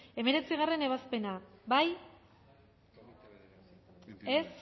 hemeretzigarrena ebazpena bozkatu dezakegu